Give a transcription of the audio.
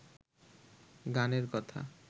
গানের কথা